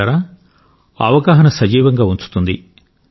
మిత్రులారా అవగాహన సజీవంగా ఉంచుతుంది